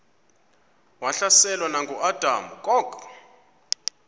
wahlaselwa nanguadam kok